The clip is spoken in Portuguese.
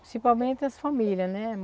Principalmente as famílias, né?